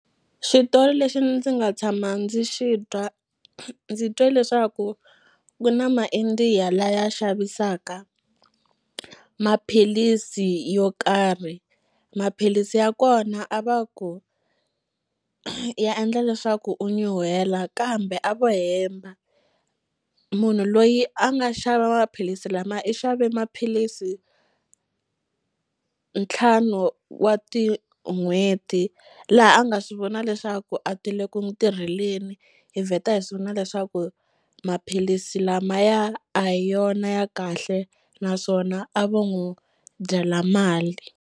Xitori lexi ndzi nga tshama ndzi xi twa ndzi twe leswaku ku na ma-India laya xavisaka maphilisi yo karhi maphilisi ya kona a va ku ya endla leswaku u nyuhela kambe a vo hemba munhu loyi a nga xava maphilisi lamaya i xave maphilisi ntlhanu wa ti n'hweti laha a nga swi vona leswaku a ti le ku n'wu tirheleni hi vheta hi swi vona leswaku maphilisi lamaya a hi yona ya kahle naswona a vo n'wu dyela mali.